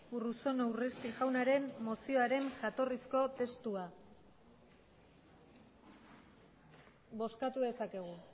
urruzuno urresti jaunaren mozioaren jatorrizko testua bozkatu dezakegu